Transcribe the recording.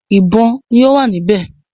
ìbọn ni ọ wá níbè